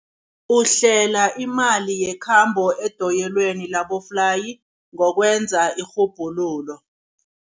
Uhlela imali yekhambo edoyelweni laboflayi ngokwenza irhubhululo.